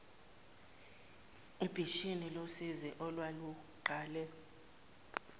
obishini losizi olwaluqale